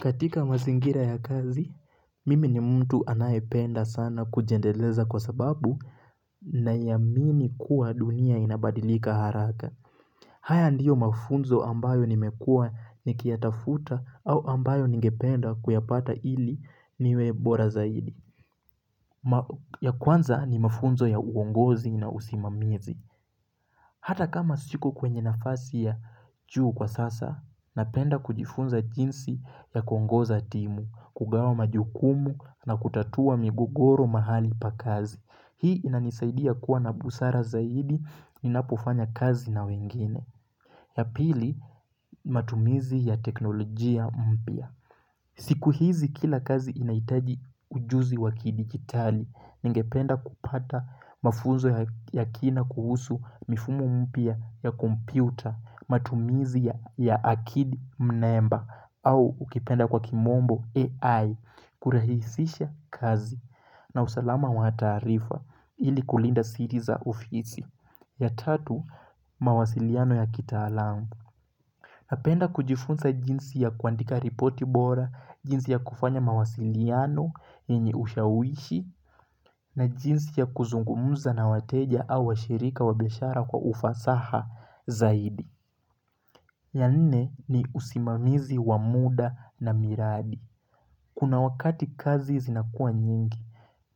Katika mazingira ya kazi, mimi ni mtu anayependa sana kujendeleza kwa sababu na yamini kuwa dunia inabadilika haraka. Haya ndiyo mafunzo ambayo nimekua nikiyatafuta au ambayo ningependa kuyapata ili niwebora zaidi. Ya kwanza ni mafunzo ya uongozi na usimamizi. Hata kama siku kwenye nafasi ya juu kwa sasa, napenda kujifunza jinsi ya kuongoza timu, kugawa majukumu na kutatua migogoro mahali pa kazi. Hii inanisaidia kuwa na busara zaidi, ninapofanya kazi na wengine. Ya pili, matumizi ya teknolojia mpya. Siku hizi kila kazi inaitaji ujuzi wakidigitali ningependa kupata mafunzo ya kina kuhusu mifumo mpya ya kompyuta matumizi ya akidi mnemba au ukipenda kwa kimombo AI kurahisisha kazi na usalama wa taarifa ili kulinda siriza ofisi ya tatu mawasiliano ya kitaalamu. Napenda kujifunza jinsi ya kuandika ripoti bora, jinsi ya kufanya mawasiliano yenye ushawishi na jinsi ya kuzungumuza na wateja au wa shirika wabiashara kwa ufasaha zaidi. Ya nne ni usimamizi wa muda na miradi. Kuna wakati kazi zinakua nyingi,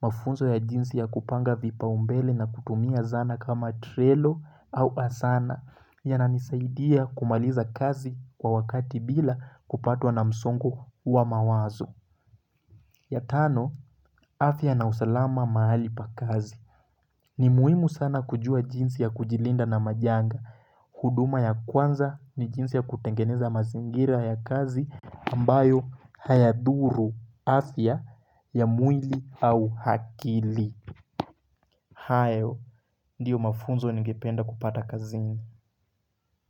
mafunzo ya jinsi ya kupanga vipa umbele na kutumia zana kama trelo au asana ya nanisaidia kumaliza kazi kwa wakati bila kupatwa na msongo wa mawazo. Ya tano, atya na usalama mahali pa kazi. Ni muhimu sana kujua jinsi ya kujilinda na majanga. Huduma ya kwanza ni jinsi ya kutengeneza mazingira ya kazi ambayo hayaduru afya ya mwili au akili hayo, ndiyo mafunzo ningependa kupata kazini.